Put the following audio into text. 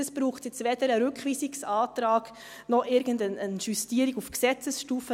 Dazu braucht es jetzt weder einen Rückweisungsantrag, noch irgendeine Justierung auf Gesetzesstufe.